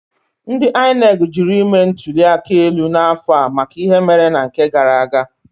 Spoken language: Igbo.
Ndị INEC jụrụ ime ntuli aka elu n'afọ a maka ihe mere na nke gara aga.